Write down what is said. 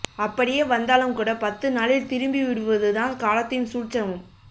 அப்படியே வந்தாலும் கூட பத்து நாளில் திரும்பி விடுவது தான் காலத்தின் சூழ்ச்சமம்